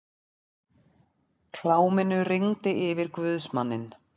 Kláminu rigndi yfir guðsmanninn.